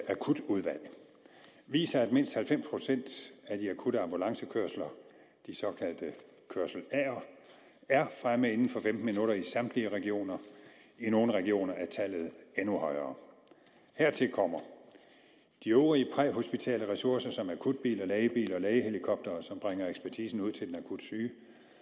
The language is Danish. akutudvalg viser at mindst halvfems procent af de akutte ambulancekørsler de såkaldte kørsel aer er fremme inden for femten minutter i samtlige regioner i nogle regioner er tallet endnu højere hertil kommer de øvrige præhospitale ressourcer som akutbiler lægebiler lægehelikoptere som bringer ekspertisen ud til den akut syge